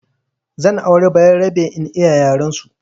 Zan auri bayarabe in iya yarensu